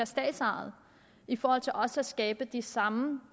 statsejede i forhold til også at skabe de samme